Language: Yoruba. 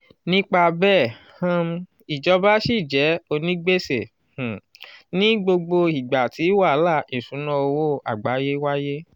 nípa bẹ́ẹ̀ um ìjọba ṣì jẹ́ onígbèsè um ní gbogbo ìgbà tí wàhálà ìṣúnná owó àgbáyé wáyé.